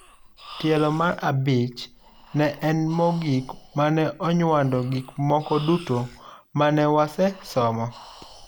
Tielo mar abich ne en mogik mane onywando gik moko duto mane wase somo,